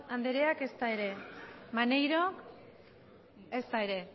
andereak ez da ere maneiro ez da ere